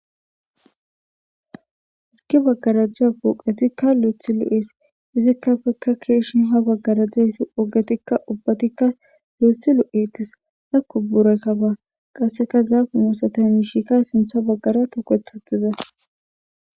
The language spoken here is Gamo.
hirki baggara diza poqitii lu'ethi lu7ees izikkafeka keeshin ha baggaradeefi ogatikka ubbatikka luethu lu7eettis dakko bura kaba qasseka zaafunu satamshika sintha baggara toketuxiza